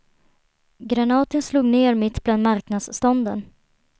Granaten slog ner mitt bland marknadsstånden.